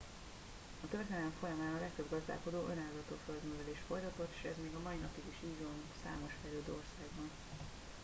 a történelem folyamán a legtöbb gazdálkodó önellátó földművelést folytatott s ez még a mai napig is így van számos fejlődő országban